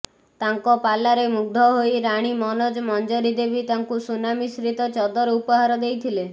ତାଙ୍କ ପାଲାରେ ମୁଗ୍ଧ ହୋଇ ରାଣୀ ମନୋଜ ମଞ୍ଜରୀ ଦେବୀ ତାଙ୍କୁ ସୁନା ମିଶ୍ରିତ ଚଦର ଉପହାର ଦେଇଥିଲେ